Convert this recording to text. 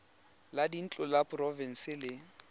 la dintlo la porofense le